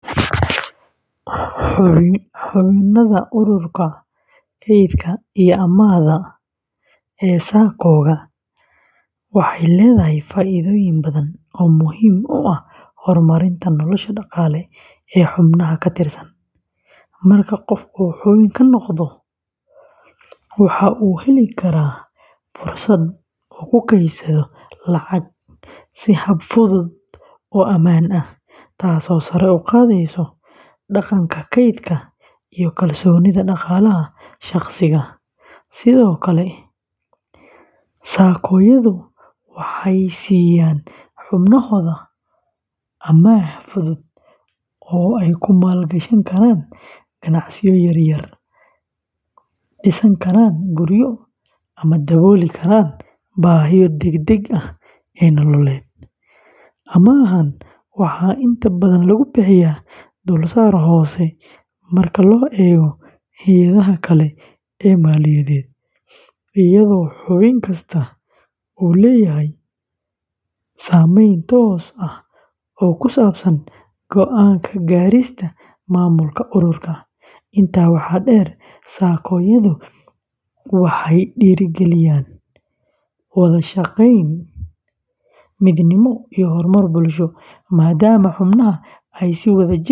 Xubinimada ururka kaydka iyo amaahda ee SACCOka waxay leedahay faa’iidooyin badan oo muhiim u ah horumarinta nolosha dhaqaale ee xubnaha ka tirsan. Marka qof uu xubin ka noqdo, waxa uu heli karaa fursad uu ku kaydsado lacag si hab fudud oo ammaan ah, taasoo sare u qaadaysa dhaqanka kaydka iyo kalsoonida dhaqaalaha shaqsiga. Sidoo kale, SACCOyadu waxay siiyaan xubnahooda amaah fudud oo ay ku maalgashan karaan ganacsiyo yaryar, dhisan karaan guryo ama dabooli karaan baahiyaha degdegga ah ee nololeed. Amaahan waxaa inta badan lagu bixiyaa dulsaar hoose marka loo eego hay’adaha kale ee maaliyadeed, iyadoo xubin kasta uu leeyahay saamayn toos ah oo ku saabsan go’aan ka gaarista maamulka ururka. Intaa waxaa dheer, SACCOyadu waxay dhiirrigeliyaan wada shaqeyn, midnimo iyo horumar bulsho, maadaama xubnaha ay si wadajir ah.